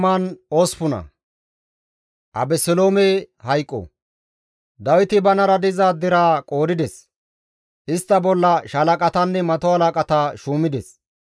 Dawiti banara diza deraa qoodides; istta bolla shaalaqatanne mato halaqata shuumides.